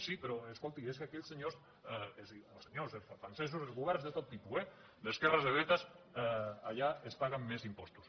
sí però escolti és que aquells senyors és a dir els francesos els governs de tot tipus eh d’esquerres de dretes allà es paguen més impostos